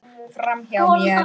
Miklu skárra.